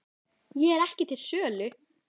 Ég er ekki til sölu